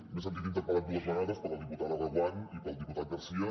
m’he sentit interpel·lat dues vegades per la diputada reguant i pel diputat garcía